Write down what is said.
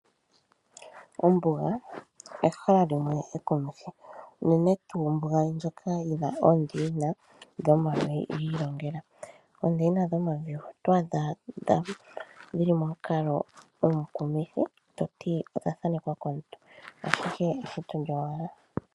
Ombuga ehala limwe ekumithi unene nduu ehala ndoka lina oondeyina dhomavi giilongela. Oondeyina dhomavi oto adha dhili momukalo omukumithi toti odha thanekwa komuntu ashike eshito lyowala.